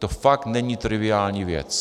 To fakt není triviální věc.